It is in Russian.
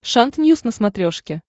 шант ньюс на смотрешке